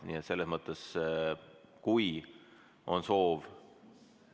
Nii et selles mõttes, kui on soov ...